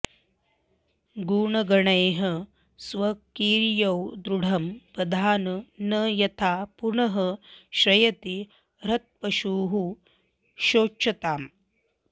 गुणगणैः स्वकीयैर्दृढम् बधान न यथा पुनः श्रयति हृत्पशुः शोच्यताम्